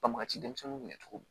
Banbagaci denmisɛnninw kun bɛ cogo min